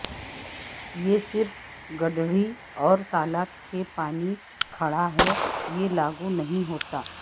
یہ صرف گڈڑھی اور تالاب کے پانی کھڑا ہے کہ لاگو نہیں ہوتا